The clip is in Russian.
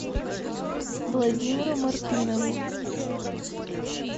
владимиру мартынову